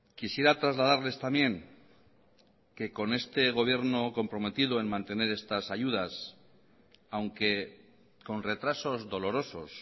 quisiera trasladarles también que con este gobierno comprometido en mantener estas ayudas aunque con retrasos dolorosos